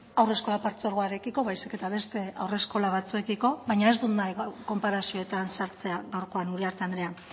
haurreskolak partzuergoarekiko baizik eta beste haur eskola batzuekiko baina ez dut gaur konparazioetan sartzea gaurkoan uriarte andrea